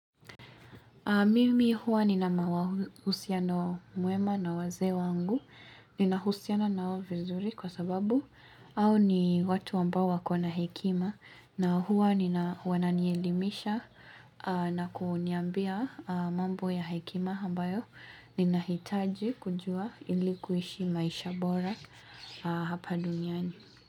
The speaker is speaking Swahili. Mimi huwa nina mahusiano mwema na wazee wangu, nina husiana nao vizuri kwa sababu hao ni watu ambao wako na hekima na huwa nina wananielimisha na kuniambia mambo ya hekima ambayo nina hitaji kujua ilikuishi maisha bora hapa duniani.